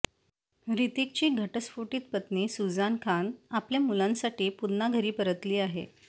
हृतिकची घटस्फोटित पत्नी सुझान खान आपल्या मुलांसाठी पुन्हा घरी परतली आहे